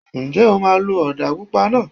Ǹjẹ́ o máa lo ọ̀dà pupa náà?